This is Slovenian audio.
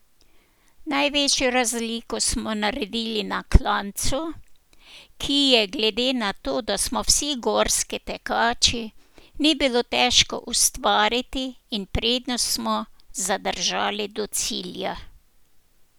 Največjo razliko smo naredili na klancu, ki je, glede na to, da smo vsi gorski tekači, ni bilo težko ustvariti, in prednost smo zadržali do cilja.